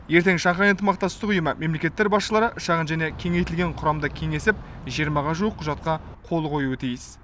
ертең шанхай ынтымақтастық ұйымы мемлекеттер басшылары шағын және кеңейтілген құрамда кеңесіп жиырмаға жуық құжатқа қол қоюы тиіс